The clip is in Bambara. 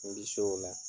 N bi se o la